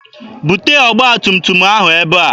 Bute ọgba tum tum ahụ ebe a!